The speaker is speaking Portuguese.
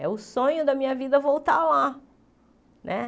É o sonho da minha vida voltar lá né.